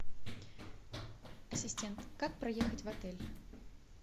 ассистент как проехать в отель